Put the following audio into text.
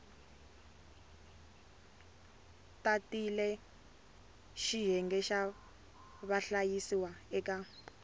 tatile xiyenge xa vahlayisiwa eka